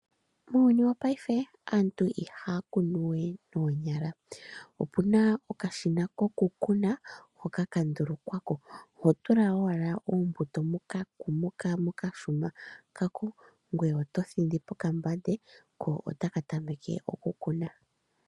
Muuyuni wo paime antu iha kunu nonyala we ompuna okashina koku kuna. Hoka kandulukwa hotula wala oombuto mokashina kweye oto thindi poka mbande. Ko otakatameke oku kuna.